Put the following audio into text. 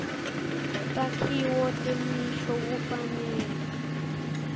takhiwo temisho kufanele